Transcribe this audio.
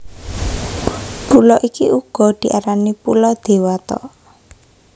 Pulo iki uga diarani Pulo Dewata